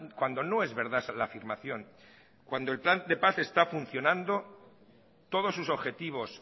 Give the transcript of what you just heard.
cuando no es verdad la afirmación cuando el plan de paz está funcionando todos sus objetivos